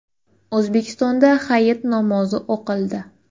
O‘zbekistonda hayit namozi o‘qildi.